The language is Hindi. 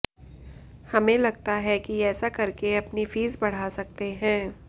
हमें लगता है कि ऐसा करके अपनी फीस बढ़ा सकते हैं